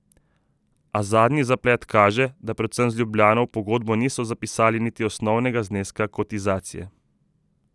A zadnji zaplet kaže, da predvsem z Ljubljano v pogodbo niso zapisali niti osnovnega zneska kotizacije.